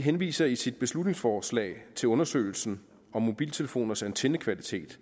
henviser i sit beslutningsforslag til undersøgelsen af mobiltelefoners antennekvalitet